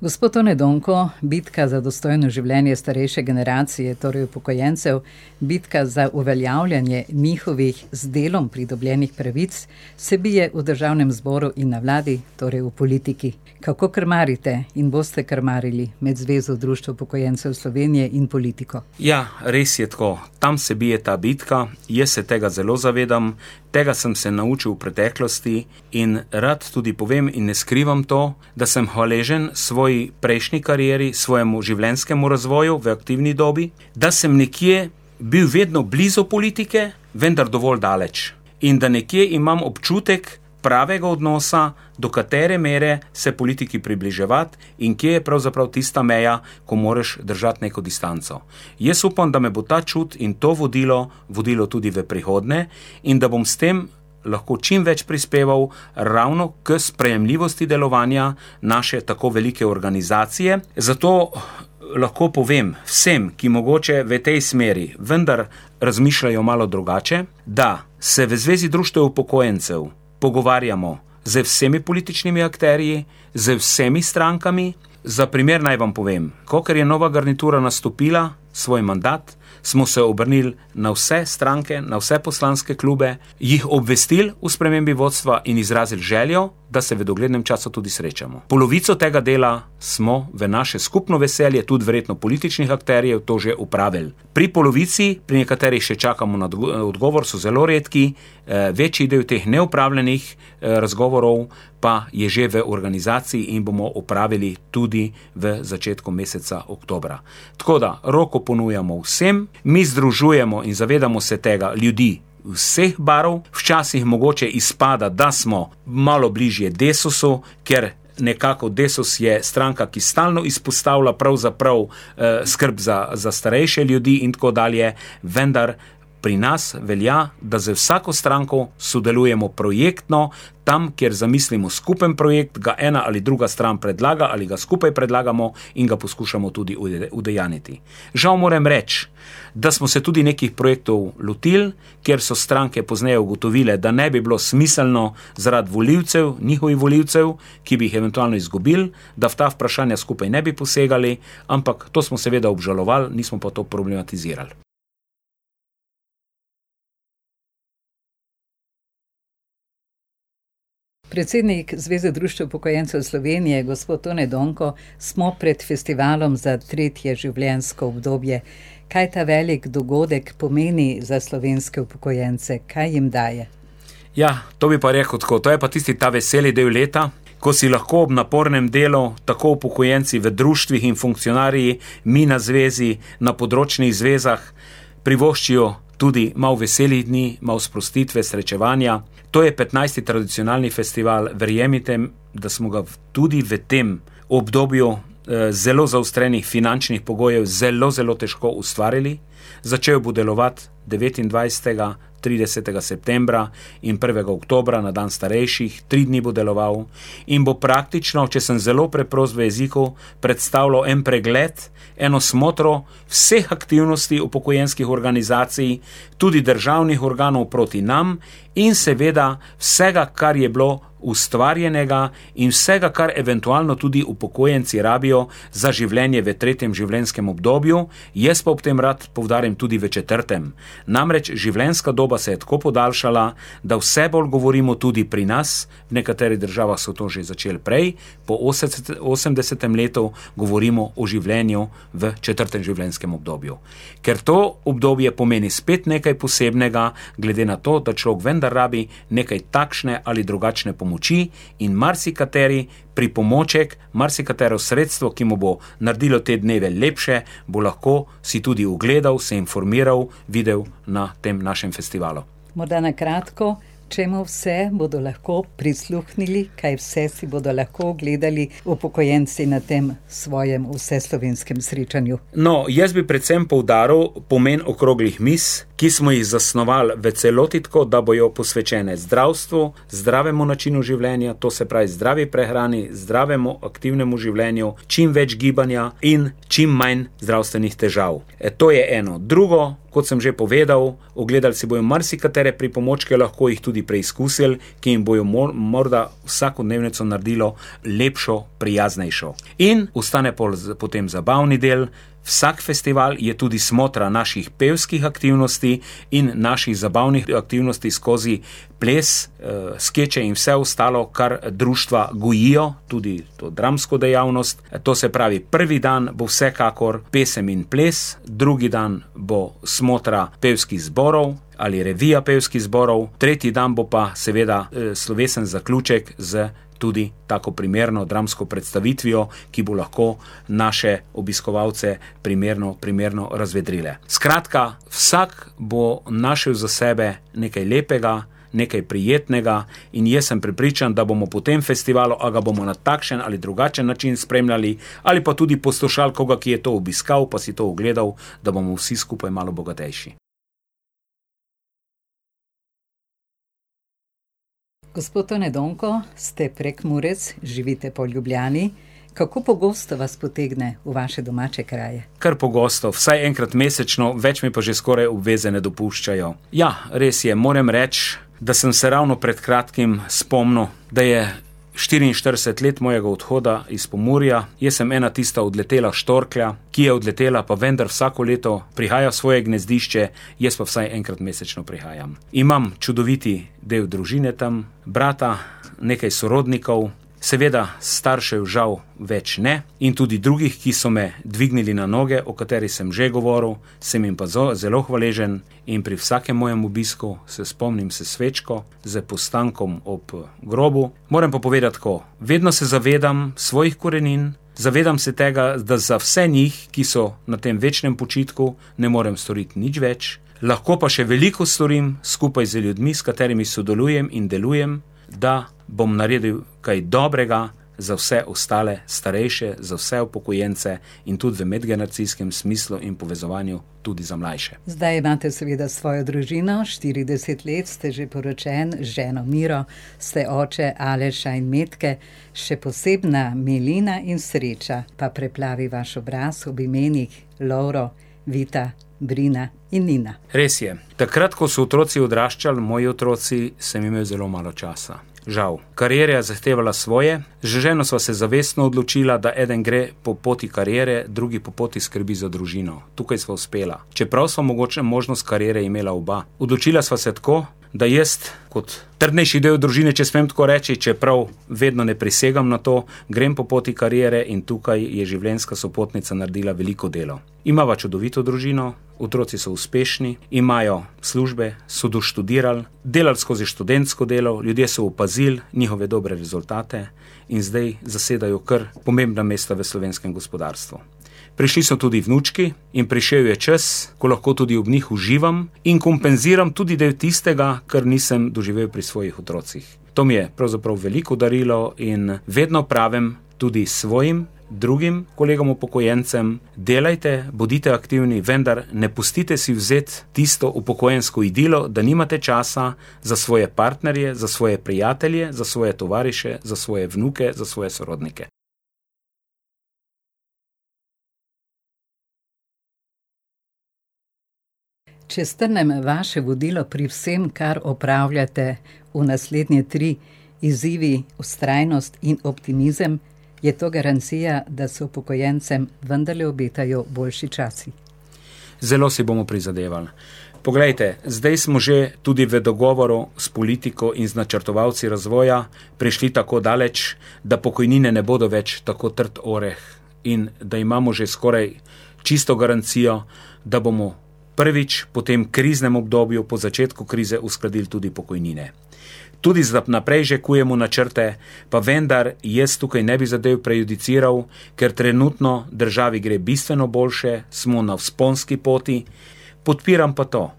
Gospod Tone Donko, bitka za dostojno življenje starejše generacije, torej upokojencev, bitka za uveljavljanje njihovih z delom pridobljenih pravic, se bije v državnem zboru in na vladi, torej v politiki. Kako krmarite in boste krmarili med Zvezo društev upokojencev Slovenije in politiko? Ja, res je tako. Tam se bije ta bitka. Jaz se tega zelo zavedam. Tega sem se naučil v preteklosti in rad tudi povem in ne skrivam to, da sem hvaležen svoji prejšnji karieri, svojemu življenjskemu razvoju v aktivni dobi, da sem nekje bil vedno blizu politike, vendar dovolj daleč. In da nekje imam občutek pravega odnosa, do katere mere se politiki približevati in kje je pravzaprav tista meja, ko moraš držati neko distanco. Jaz upam, da me bo ta čut in to vodilo vodilo tudi v prihodnje in da bom s tem lahko čim več prispeval ravno ko sprejemljivosti delovanja naše tako velike organizacije. Zato lahko povem vsem, ki mogoče v tej smeri vendar razmišljajo malo drugače, da se v Zvezi društev upokojencev pogovarjamo z vsemi političnimi akterji, z vsemi strankami. Za primer naj vam povem. Kakor je nova garnitura nastopila svoj mandat, smo se obrnili na vse stranke, na vse poslanske klube, jih obvestili o spremembi vodstva in izrazil željo, da se v doglednem času tudi srečamo. Polovico tega dela smo v naše skupno veselje, tudi verjetno političnih akterjev, to že opravili. Pri polovici, pri nekaterih še čakamo na odgovor, so zelo redki, večji del teh neopravljenih, razgovorov pa je že v organizaciji in bomo opravili tudi v začetku meseca oktobra. Tako da, roko ponujamo vsem. Mi združujemo, in zavedamo se tega, ljudi vseh barv. Včasih mogoče izpada, da smo malo bližje Desusu, ker nekako Desus je stranka, ki stalno izpostavlja pravzaprav, skrb za, za starejše ljudi in tako dalje. Vendar pri nas velja, da z vsako stranko sodelujemo projektno. Tam, kjer zamislimo skupni projekt, ga ena ali druga stran predlaga ali ga skupaj predlagamo, in ga poskušamo tudi udejanjiti. Žal moram reči, da smo se tudi nekih projektov lotili, ker so stranke pozneje ugotovile, da ne bi bilo smiselno zaradi volivcev, njihovih volivcev, ki bi jih eventualno izgubili, da v ta vprašanja skupaj ne bi posegali, ampak to smo seveda obžalovali, nismo pa to problematizirali. Predsednik Zveze društev upokojencev Slovenije gospod Tone Donko, smo pred festivalom za tretje življenjsko obdobje. Kaj ta veliko dogodek pomeni za slovenske upokojence? Kaj jim daje? Ja, to bi pa rekel tako. To je pa tisti ta veseli del leta, ko si lahko ob napornem delu tako upokojenci v društvih in funkcionarji, mi na zvezi, na področnih zvezah privoščijo tudi malo veselih dni, malo sprostitve, srečevanja. To je petnajsti tradicionalni festival. Verjemite, da smo ga v tudi v tem obdobju, zelo zaostrenih finančnih pogojev zelo, zelo težko ustvarili. Začel bo delovati devetindvajsetega, tridesetega septembra in prvega oktobra, na dan starejših. Tri dni bo deloval in bo praktično, če sem zelo preprost v jeziku, predstavljal en pregled, eno smoter vseh aktivnosti upokojenskih organizacij, tudi državnih organov proti nam in seveda vsega, kar je bilo ustvarjenega in vsega, kar eventualno tudi upokojenci rabijo za življenje v tretjem življenjskem obdobju. Jaz pa ob tem rad poudarim, tudi v četrtem. Namreč življenjska doba se je tako podaljšala, da vse bolj govorimo tudi pri nas, v nekaterih državah so to že začeli prej, po osemdesetem letu govorimo o življenju v četrtem življenjskem obdobju. Ker to obdobje pomeni spet nekaj posebnega glede na to, da človek vendar rabi nekaj takšne ali drugačne pomoči in marsikateri pripomoček, marsikatero sredstvo, ki mu bo naredilo te dneve lepše, bo lahko si tudi ogledal, se informira, videl na tem našem festivalu. Morda na kratko, čemu vse bodo lahko prisluhnili, kaj vse si bodo lahko ogledali upokojenci na tem svojem vseslovenskem srečanju? No, jaz bi predvsem poudaril pomen okroglih mizi, ki smo jih zsnovali v celoti tako, da bojo posvečene zdravstvu, zdravemu načinu življenja. To se pravi zdravi prehrani, zdravemu, aktivnemu življenju, čim več gibanja in čim manj zdravstvenih težav. to je eno. Drugo, kot sem že povedal, ogledali si bojo marsikatere pripomočke, lahko jih tudi preizkusili, ki jim bojo morda vsakodnevnico naredilo lepšo, prijaznejšo. In ostane potem zabavni del. Vsak festival je tudi smotra naših pevskih aktivnosti in naših zabavnih aktivnosti skozi ples, skeče in vse ostalo, kar društva gojijo, tudi to dramsko dejavnost. To se pravi, prvi dan bo vsekakor pesem in ples, drugi dan bo smotra pevskih zborov ali revija pevskih zborov, tretji dan bo pa seveda, slovesen zaključek s tudi tako primerno dramsko predstavitvijo, ki bo lahko naše obiskovalce primerno, primerno razvedrile. Skratka, vsak bo našel za sebe nekaj lepega, nekaj prijetnega in jaz sem prepričan, da bomo po tem festivalu, a ga bomo na takšen ali drugačen način spremljali, ali pa tudi poslušali koga, ki je to obiskal pa si to ogledal, da bomo vsi skupaj malo bogatejši. Gospod Tone Donko, ste Prekmurec, živite pa v Ljubljani. Kako pogosto vas potegne v vaše domače kraje? Kar pogosto, vsaj enkrat mesečno, več mi pa že skoraj obveze ne dopuščajo. Ja, res je. Moram reči, da sem se ravno pred kratkim spomnil, da je štiriinštirideset let mojega odhoda iz Pomurja. Jaz sem ena tista odletela štorklja, ki je odletela, pa vendar vsako leto prihaja v svoje gnezdišče. Jaz pa vsaj enkrat mesečno prihajam. Imam čudoviti del družine tam. Brata, nekaj sorodnikov. Seveda staršev žal več ne, in tudi drugih, ki so me dvignili na noge, o katerih sem že govoril, sem jim pa zelo hvaležen in pri vsakem mojem obisku se spomnim s svečko, s postankom ob, grobu. Moram pa povedati tako. Vedno se zavedam svojih korenin, zavedam se tega, da za vse njih, ki so na tem večnem počitku, ne morem storiti nič več, lahko pa še veliko storim skupaj z ljudmi, s katerimi sodelujem in delujem, da bom naredil kaj dobrega za vse ostale starejše, za vse upokojence in tudi v medgeneracijskem smislu in povezovanju tudi za mlajše. Zdaj imate seveda svojo družino. Štirideset let ste že poročen z ženo Miro. Ste oče Aleša in Metke. Še posebna milina in sreča pa preplavi vaš obraz ob imenih Lovro, Vita, Brina in Nina. Res je. Takrat, ko so otroci odraščali, moji otroci, sem imel zelo malo časa. Žal. Kariera je zahtevala svoje. Z ženo sva se zavestno odločila, da eden gre po poti kariere, drugi po poti skrbi za družino. Tukaj sva uspela. Čeprav sva mogoče možnost kariere imela oba. Odločila sva se tako, da jaz kot trdnejši del družine, če smem tako reči, čeprav vedno ne prisegam na to, grem po poti kariere in tukaj je življenjska sopotnica naredila veliko delo. Imava čudovito družino, otroci so uspešni, imajo službe, so doštudirali, delali skozi študentsko delo, ljudje so opazili njihove dobre rezultate in zdaj zasedajo kar pomembna mesta v slovenskem gospodarstvu. Prišli so tudi vnučki in prišel je čas, ko lahko tudi ob njih uživam in kompenziram tudi del tistega, kar nisem doživel pri svojih otrocih. To mi je pravzaprav veliko darilo in vedno pravim tudi svojim drugim kolegom upokojencem: "Delajte, bodite aktivni, vendar ne pustite si vzeti tisto upokojensko idilo, da nimate časa za svoje partnerje, za svoje prijatelje, za svoje tovariše, za svoje vnuke, za svoje sorodnike." Če strnem vaše vodilo pri vsem, kar opravljate v naslednje tri: izzivi, vztrajnost in optimizem. Je to garancija, da se upokojencem vendarle obetajo boljši časi? Zelo si bomo prizadeval. Poglejte, zdaj smo že tudi v dogovoru s politiko in z načrtovalci razvoja prišli tako daleč, da pokojnine ne bodo več tako trd oreh in da imamo že skoraj čisto garancijo, da bomo prvič po tem kriznem obdobju, po začetku krize uskladili tudi pokojnine. Tudi za naprej že kujemo načrte. Pa vendar jaz tukaj ne bi zadev prejudiciral, ker trenutno državi gre bistveno boljše, smo na vzponski poti. Podpiram pa to,